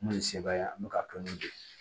N'o ye sebaaya ye an bɛ ka n'u jɔ